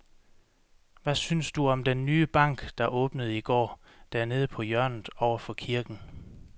Hvad synes du om den nye bank, der åbnede i går dernede på hjørnet over for kirken?